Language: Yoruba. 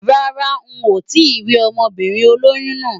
Rárá n ò tíì rí ọmọbìnrin olóyún náà.